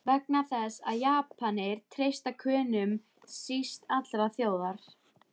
Vegna þess, að Japanir treysta Könum síst allra þjóða!